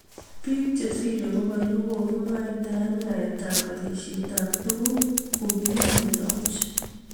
Bik chesirei bokol kokikimwaitae yaet ab alishet ab tukuk kokikimeto buch.